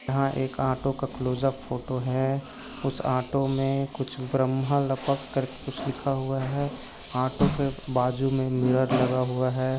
यहाँ एक ऑटो का क्लोज़अप फोटो है उस ऑटो मे कुछ ब्रह्मा लपक करके कुच्छ लिखा हुआ है। ऑटो पे बाजू मे मिरर लगा हुआ है।